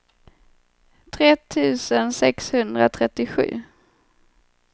tre tusen sexhundratrettiosju